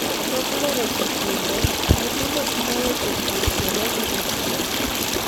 Tok loro sikunde ,nyithindo timo weche pur kendo uso chiemo.